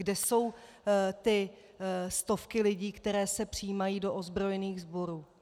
Kde jsou ty stovky lidí, které se přijímají do ozbrojených sborů?